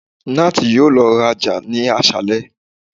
Nath yoo lọ raja ni aṣalẹ